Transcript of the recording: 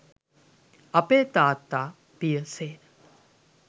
අපේ තාත්ත පිය සේන